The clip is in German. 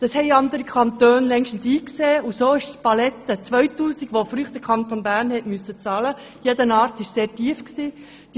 Das haben andere Kantone längst eingesehen, und so ist die Beteiligung von 2000 Franken, welche bisher jeder Arzt im Kanton Bern bezahlen musste, sehr tief.